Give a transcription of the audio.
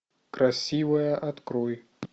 красивая открой